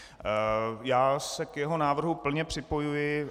Já se k jeho návrhu plně připojuji.